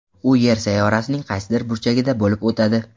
U Yer sayyorasining qaysidir burchagida bo‘lib o‘tadi.